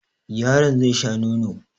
Yaron zai sha nono.